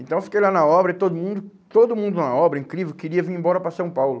Então eu fiquei lá na obra e todo mundo, todo mundo na obra, incrível, queria vir embora para São Paulo.